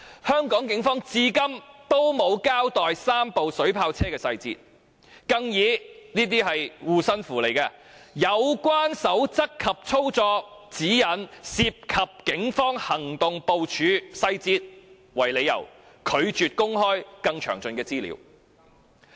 香港警方至今仍未交代3輛水炮車的細節，更借助一道"護身符"，即有關守則及操作指引屬警方行動部署細節，拒絕公開更詳盡的資料。